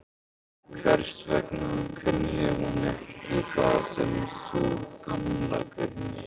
Hvers vegna kunni hún ekki það sem sú Gamla kunni?